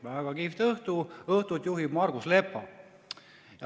Väga kihvt õhtu, õhtut juhib Margus Lepa.